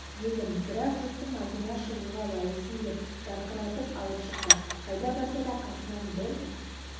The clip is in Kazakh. едім бірақ жұрттың алдына шығуға лайықсың деп жарқыратып алып шықты қайда барса да қасынан бір